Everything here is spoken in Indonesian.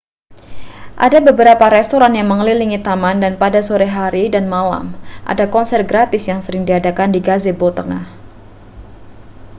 ada beberapa restoran yang mengelilingi taman dan pada sore hari dan malam ada konser gratis yang sering diadakan di gazebo tengah